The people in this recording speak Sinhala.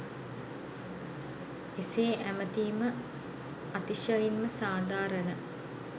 එසේ ඇමතීම අතිශයින්ම සාධාරණ